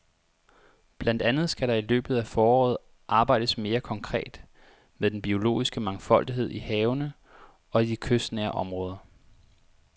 Blandt andet skal der i løbet af foråret arbejdes mere konkret med den biologiske mangfoldighed i havene og i de kystnære områder.